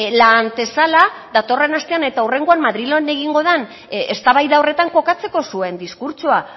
la antesala datorren astean eta hurrengoan madrilen egingo dan eztabaida horretan kokatzeko zuen diskurtsoa